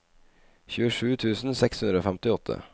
tjuesju tusen seks hundre og femtiåtte